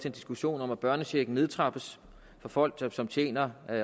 en diskussion om at børnechecken nedtrappes for folk som tjener